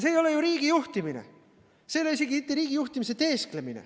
See ei ole ju riigi juhtimine, see ei ole isegi mitte riigi juhtimise teesklemine.